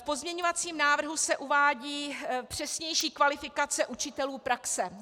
V pozměňovacím návrhu se uvádí přesnější kvalifikace učitelů praxe.